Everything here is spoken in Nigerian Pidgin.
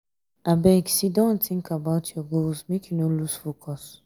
abeg siddon tink about your goals make you no loose focus.